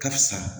Karisa